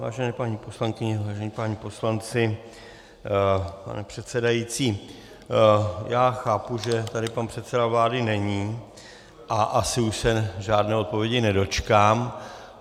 Vážené paní poslankyně, vážení páni poslanci, pane předsedající, já chápu, že tady pan předseda vlády není a asi už se žádné odpovědi nedočkám.